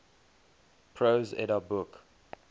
prose edda book